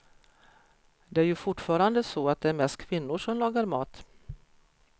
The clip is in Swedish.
Det är ju fortfarande så att det mest är kvinnor som lagar mat.